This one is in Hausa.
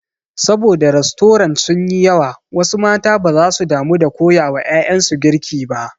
Sabo da rastorant sun yi yawa wasu mata baza su damu da koya wa ƴaƴansu girki ba.